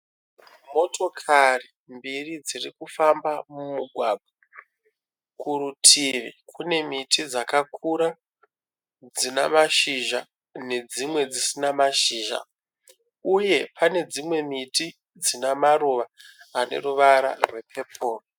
Motokari mbiri dzirikufamba mumugwagwa. Kurutivi kune miti dzakakura dzina mashizha nedzimwe dzisina mashizha uye pane dzimwe miti dzina maruva ane ruvara rwepepuru.